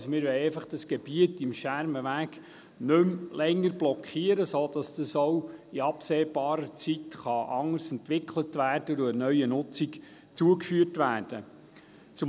Wir wollen das Gebiet am Schermenweg einfach nicht mehr länger blockieren, sodass es auch in absehbarer Zeit anders entwickelt und einer neuen Nutzung zugeführt werden kann.